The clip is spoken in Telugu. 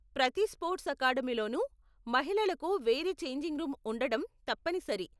ప్రతి స్పోర్ట్స్ అకాడమీలోను మహిళలకు వేరే ఛేంజింగ్ రూమ్ ఉండడం తప్పనిసరి.